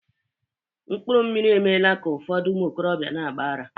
mkpuru mmiri emeela ka ụfọdụ ụmụ okorobịa na-agba ara